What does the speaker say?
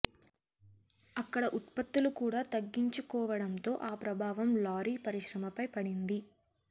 అక్కడ ఉత్పత్తులు కూడా తగ్గించుకోవడంతో ఆ ప్రభావం లారీ పరిశ్రమపై పడింది